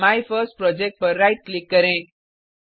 my first project पर right click करें